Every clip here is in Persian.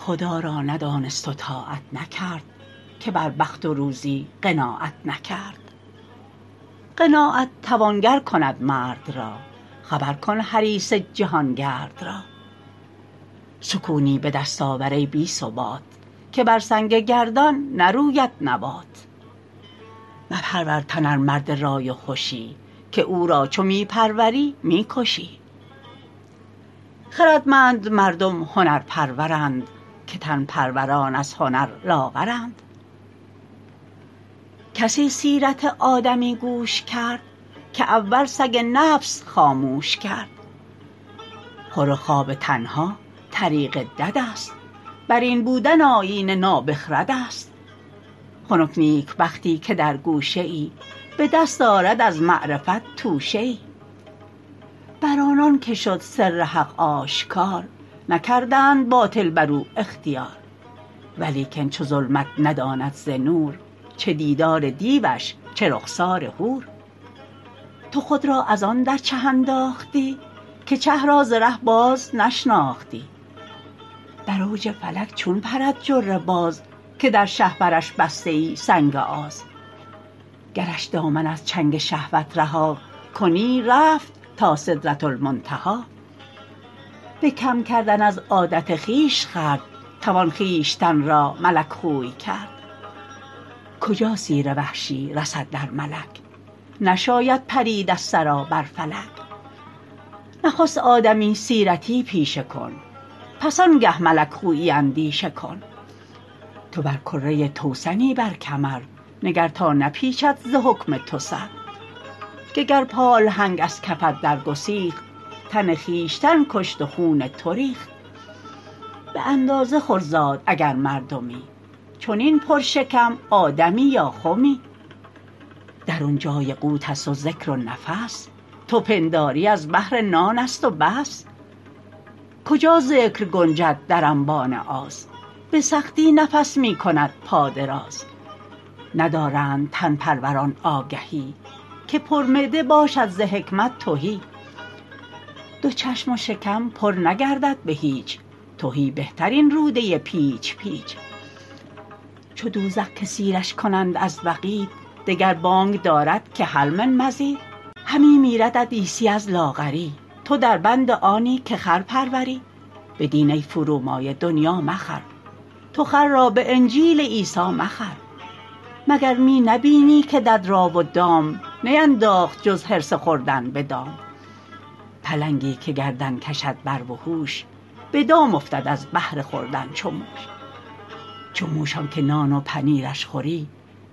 خدا را ندانست و طاعت نکرد که بر بخت و روزی قناعت نکرد قناعت توانگر کند مرد را خبر کن حریص جهانگرد را سکونی به دست آور ای بی ثبات که بر سنگ گردان نروید نبات مپرور تن ار مرد رای و هشی که او را چو می پروری می کشی خردمند مردم هنر پرورند که تن پروران از هنر لاغرند کسی سیرت آدمی گوش کرد که اول سگ نفس خاموش کرد خور و خواب تنها طریق دد است بر این بودن آیین نابخرد است خنک نیکبختی که در گوشه ای به دست آرد از معرفت توشه ای بر آنان که شد سر حق آشکار نکردند باطل بر او اختیار ولیکن چو ظلمت نداند ز نور چه دیدار دیوش چه رخسار حور تو خود را از آن در چه انداختی که چه را ز ره باز نشناختی بر اوج فلک چون پرد جره باز که در شهپرش بسته ای سنگ آز گرش دامن از چنگ شهوت رها کنی رفت تا سدرةالمنتهی به کم کردن از عادت خویش خورد توان خویشتن را ملک خوی کرد کجا سیر وحشی رسد در ملک نشاید پرید از ثری بر فلک نخست آدمی سیرتی پیشه کن پس آن گه ملک خویی اندیشه کن تو بر کره توسنی بر کمر نگر تا نپیچد ز حکم تو سر که گر پالهنگ از کفت در گسیخت تن خویشتن کشت و خون تو ریخت به اندازه خور زاد اگر مردمی چنین پر شکم آدمی یا خمی درون جای قوت است و ذکر و نفس تو پنداری از بهر نان است و بس کجا ذکر گنجد در انبان آز به سختی نفس می کند پا دراز ندارند تن پروران آگهی که پر معده باشد ز حکمت تهی دو چشم و شکم پر نگردد به هیچ تهی بهتر این روده پیچ پیچ چو دوزخ که سیرش کنند از وقید دگر بانگ دارد که هل من مزید همی میردت عیسی از لاغری تو در بند آنی که خر پروری به دین ای فرومایه دنیا مخر تو خر را به انجیل عیسی مخر مگر می نبینی که دد را و دام نینداخت جز حرص خوردن به دام پلنگی که گردن کشد بر وحوش به دام افتد از بهر خوردن چو موش چو موش آن که نان و پنیرش خوری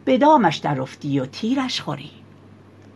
به دامش در افتی و تیرش خوری